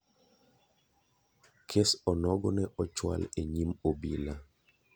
kes onogo ne ochwal e nyim obila.